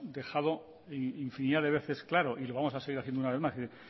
dejado infinidad de veces claro y lo vamos a seguir haciendo una vez más quiero